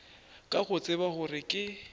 ka go tseba gore ke